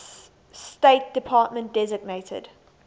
state department designated